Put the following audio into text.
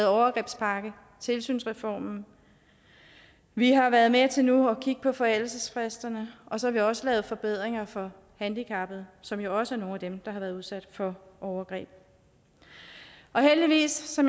overgrebspakke og en tilsynsreform vi har været med til nu at kigge på forældelsesfristerne og så har vi også lavet forbedringer for handicappede som jo også er nogle af dem der har været udsat for overgreb heldigvis har